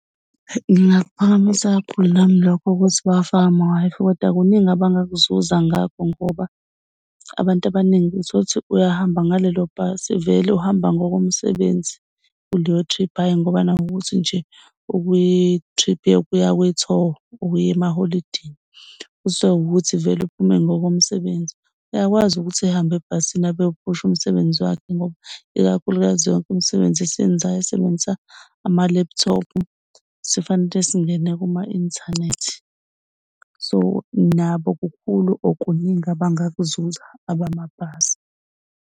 Ngingakuphakamisa kakhulu nami lokho, ukuthi bawafake ama-Wi-Fi kodwa kuningi abangakuzuza ngakho ngoba abantu abaningi uthola ukthi uyahamba ngalelo bhasi. Vele uhamba ngokomsebenzi kuleyo trip, hhayi ngoba nakhu ukuthi nje ukwi-trip yokuya kuyi-tour ukuya emaholidini. Kusawukuthi vele uphume ngokomsebenzi. Uyakwazi ukuthi ehambe ebhasini abe ewuphusha umsebenzi wakhe ngoba ikakhulukazi yonke umsebenzi esiwenzayo isebenzisa ama-laptop sifanele singene kuma-inthanethi. So, nabo kukhulu or okuningi abangakuzuza abamabhasi.